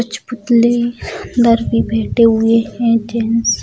कुछ पुतले अंदर भी बैठे हुए है जेंट्स ।